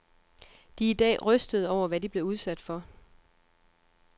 De er i dag rystede over, hvad de blev udsat for.